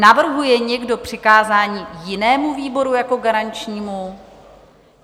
Navrhuje někdo přikázání jinému výboru jako garančnímu?